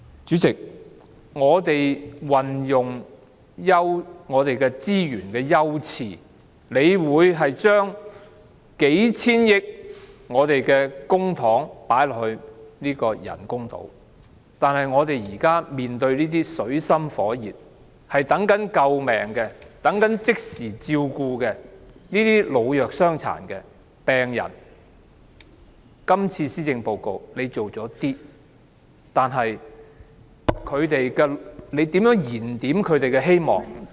主席，就運用資源的優次方面，政府將幾千億元公帑投放於發展人工島；針對正處於水深火熱、等待救命及即時照顧的老弱傷殘及病人，特首在這份施政報告中推出了一些措施，但如何為他們燃點希望？